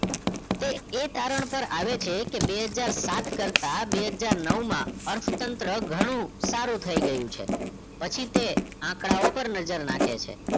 તે એ તારણ ઉપર આવે છે કે બે હજાર સાત કરતા બે હજાર નવ માં અર્થતંત્ર ઘણુ સારું થઈ ગયું છે પછી તે આંકડાઓ પર નજર નાખે છે